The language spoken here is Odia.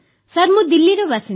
ସାର୍ ମୁଁ ଦିଲ୍ଲୀର ବାସିନ୍ଦା